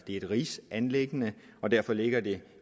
et rigsanliggende og derfor ligger det